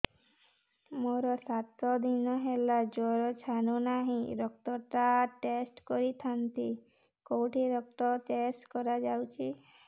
ମୋରୋ ସାତ ଦିନ ହେଲା ଜ୍ଵର ଛାଡୁନାହିଁ ରକ୍ତ ଟା ଟେଷ୍ଟ କରିଥାନ୍ତି କେଉଁଠି ରକ୍ତ ଟେଷ୍ଟ କରା ଯାଉଛି